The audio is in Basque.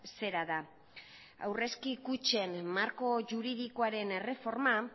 zera da aurrezki kutxen marko juridikoaren erreforma